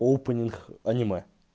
опенинг аниме